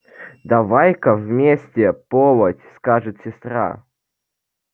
давай-ка вместе полоть скажет сестра